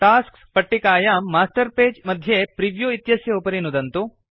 tasks पट्टिकायां master page मध्ये preview इत्यस्य उपरि नुदन्तु